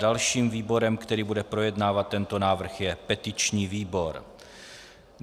Dalším výborem, který bude projednávat tento návrh, je petiční výbor.